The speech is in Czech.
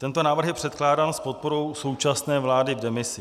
Tento návrh je předkládán s podporou současné vlády v demisi.